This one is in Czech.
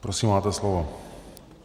Prosím, máte slovo.